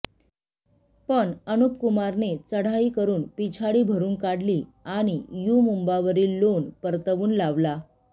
पण अनुपकुमारने चढाई करून पिछाडी भरून काढली आणि यू मुम्बावरील लोण परतवून लावला